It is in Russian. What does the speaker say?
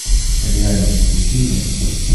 реальность включи мне